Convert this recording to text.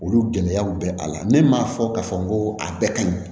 Olu gɛlɛyaw bɛ a la ne m'a fɔ k'a fɔ n ko a bɛɛ ka ɲi